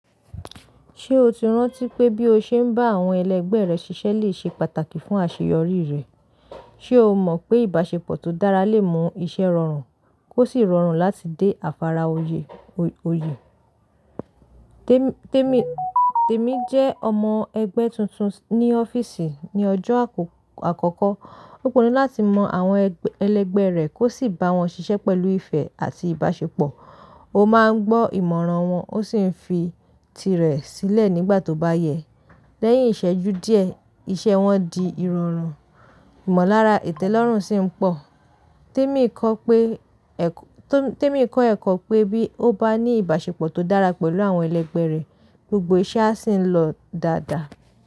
Ṣé o ti rántí pé bí o ṣe ń bá àwọn ẹlẹgbẹ́ rẹ ṣiṣẹ́ lè ṣe pàtàkì fún àṣeyọrí rẹ? Ṣé o mọ̀ pé ìbáṣepọ̀ tó dára lè mú iṣẹ́ rọrùn kó sì rọrùn láti dé àfàrà oyè? Emi jẹ́ ọmọ ẹgbẹ́ tuntun ní ọ́fíìsì ní ọjọ́ àkọ́kọ́. Ó pinnu láti mọ àwọn ẹlẹgbẹ́ rẹ̀ kó sì bá wọn ṣiṣẹ́ pẹ̀lú ìfẹ́ àti ìbáṣepọ̀. Ó máa ń gbọ́ ìmọ̀ràn wọn ó sì ń fi tirẹ̀ sílẹ̀ nígbà tó bá yẹ. Lẹ́yìn ìṣẹ́jú díẹ̀, iṣẹ́ wọn di ìrọ̀rùn ìmọ̀lára ìtẹ́lọ́rùn sì ń pọ̀. Tẹ́mi kọ́ ẹ̀kọ́ pé bí ó bá ní ìbáṣepọ̀ tó dára pẹ̀lú àwọn ẹlẹgbẹ́ rẹ̀, gbogbo iṣẹ́ á sì ń lọ dáadáa.